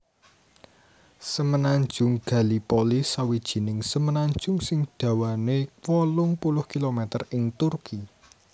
Semenanjung Gallipoli sawijining semenanjung sing dawané wolung puluh kilometer ing Turki